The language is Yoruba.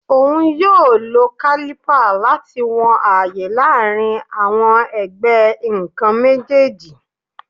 Oun yoo lo caliper lati wọn aaye laarin awọn ẹgbẹ nkan mejeeji